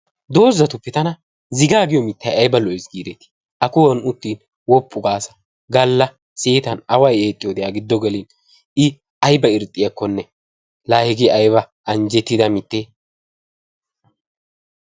dozatuppe tana zigaa giyo mitay aybba lo'es giidetii? a kuwan uttin woppu gaasa away eexxiyo seeta gala a giddo gelin i aybba irxxiyakkonne laa hegge aybba anjettida mitee?